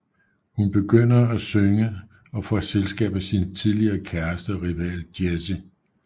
Hun begynder at synge og får selskab af sin tidligere kæreste og rival Jesse St